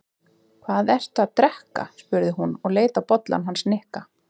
Hvað ertu að drekka? spurði hún og leit á bollann hans Nikka.